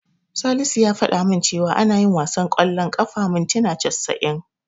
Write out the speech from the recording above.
Salisu ya fada min cewa ana yin wasan ƙwallon ƙafa mintina casa'in.